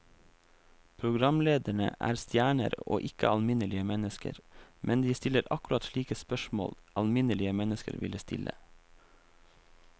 Programlederne er stjerner og ikke alminnelige mennesker, men de stiller akkurat slike spørsmål alminnelige mennesker ville stille.